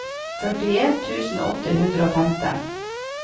førtien tusen åtte hundre og femten